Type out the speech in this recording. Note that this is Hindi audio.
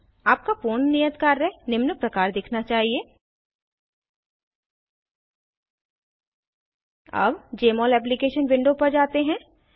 आपका पूर्ण नियत कार्य निम्न प्रकार दिखना चाहिए अब जमोल एप्लीकेशन विंडो पर जाते हैं